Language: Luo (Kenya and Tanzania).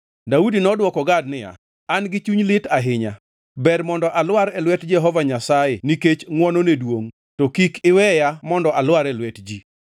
Daudi nodwoko Gad niya, “An-gi chuny lit ahinya. Ber mondo alwar e lwet Jehova Nyasaye nikech ngʼwonone duongʼ, to kik iweya mondo alwar e lwet ji.”